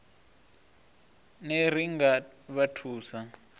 ner i nga vha thusa